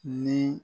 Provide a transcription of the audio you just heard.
Ni